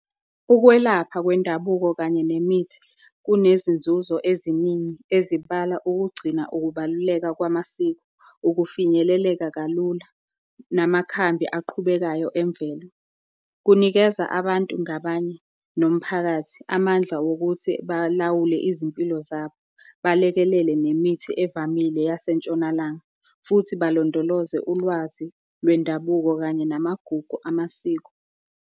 Ukwelapha kwendabuko kanye nemithi kunezinzuzo eziningi ezibala ukugcina ukubaluleka kwamasiko, ukufinyeleleka kalula namakhambi aqhubekayo emvelo. Kunikeza abantu ngabanye, nomphakathi amandla wokuthi balawule izimpilo zabo, balekelele nemithi evamile yasentshonalanga futhi balondoloze ulwazi lwendabuko kanye namagugu amasiko.